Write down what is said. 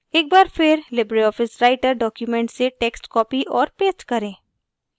एक बार फिर libreoffice writer document से text copy और paste करें